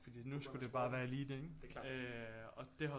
Fordi nu skulle det bare være elite ikke og det hoppede